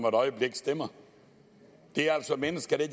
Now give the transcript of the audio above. øjeblik stemmer det er altså mennesker der